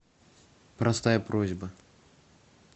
простая просьба